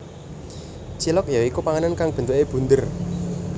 Cilok ya iku panganan kang bentuke bunder